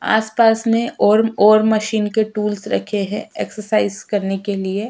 आस-पास में ओर ओर मशीन के टूल्स रखे हैं एक्सरसाइज़ करने के लिए।